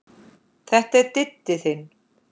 Þetta er Diddi þinn.